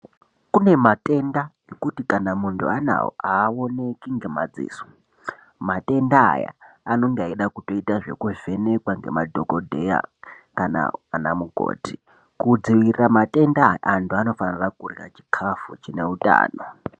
Kune matenda ekuti kana muntu anawo awoneki ngemadziso, matenda anonga eida kutoita zvekuvhenekwa ngemadhokodheya kana ana mukoti. Kudzivirira matenda aya antu anofanira kurya chikafu chine utano.